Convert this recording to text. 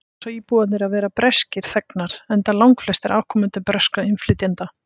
þar kjósa íbúarnir að vera breskir þegnar enda langflestir afkomendur breskra innflytjenda